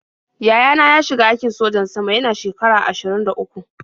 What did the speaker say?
Yaya na ya shiga aikin sojan sama yana shekara ashirin da uku.